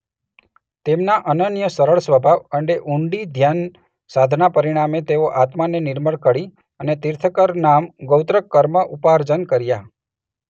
તેમના અનન્ય સરળ સ્વભાવ અને ઊંડી ધ્યાન સાધના પરિણામે તેઓ આત્માને નિર્મળ કરી અને તીર્થંકર નામ ગોત્ર કર્મ ઉપાર્જન કર્યા.